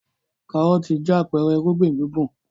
Kárọ́tì jẹ́ àpẹẹrẹ ìrúgbìn gbùngbùn.